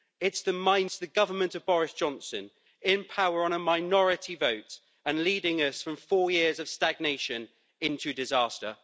It's the government of Boris Johnson, in power on a minority vote and leading us from four years of stagnation into disaster.